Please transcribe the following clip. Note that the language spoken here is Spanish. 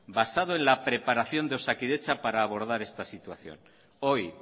basado en la preparación de osakidetza para abordar esta situación hoy